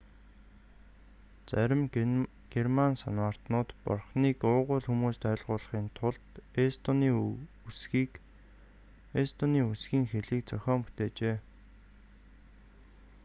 зарим герман санваартнууд бурхныг уугуул хүмүүст ойртуулахын тулд эстонийн үсгийн хэлийг зохион бүтээжээ